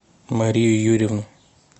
марию юрьевну